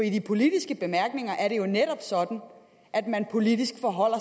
i de politiske bemærkninger er det jo netop sådan at man politisk forholder